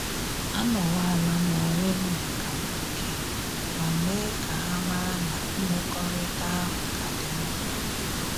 Anowalam onwem maka mgbake, ma mee ka ha mara na mmekọrịta ahụ ka dị mkpa